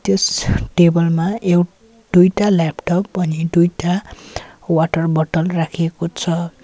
यस table मा एउट दुईटा ल्यापटप अनि दुईटा वाटर बटल राखेको छ।